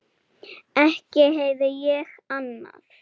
Ekki heyrði ég annað.